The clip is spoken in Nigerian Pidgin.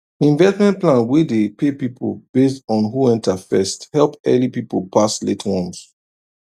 investment plan wey dey pay people based on who enter first help early people pass late ones